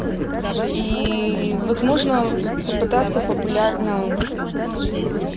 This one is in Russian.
и возможно попытаться популярным